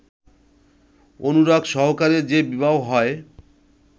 অনুরাগ সহকারে যে বিবাহ হয়